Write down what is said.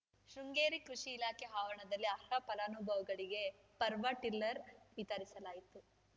ಶೃಂಗೇರಿ ಕೃಷಿ ಇಲಾಖೆ ಆವರಣದಲ್ಲಿ ಅರ್ಹ ಫಲಾನುಭವಿಗಳಿಗೆ ಪವರ್‌ಟ್ ಟಿಲ್ಲರ್‌ ವಿತರಿಸಲಾಯಿತು